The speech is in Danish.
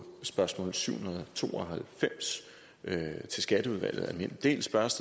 spørgsmål syv hundrede og to og halvfems til skatteudvalget almindelig del spørges